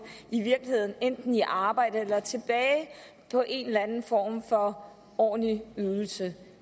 enten i arbejde eller tilbage på en eller anden form for ordentlig ydelse